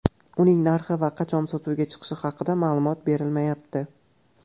Uning narxi va qachon sotuvga chiqishi haqida ma’lumot berilmayapti.